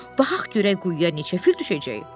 Baxaq görək quyuya neçə fil düşəcək.